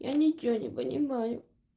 я ничего не понимаю